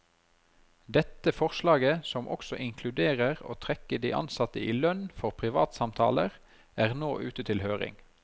Dette forslaget som også inkluderer å trekke de ansatte i lønn for privatsamtaler, er nå ute til høring.